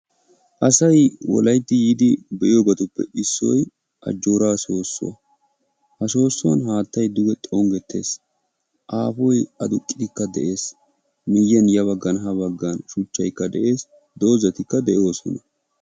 Asay wolaytti yiidi be'iyoobatuppe issoy Ajjoora soossuwa, ha soossuwan haattay duge xonggetees. Aapoy adduqikka de'ees. Miyyiyan Ya baggan ha baggan shuchchaykka de'ees, doozatikka de'oosona.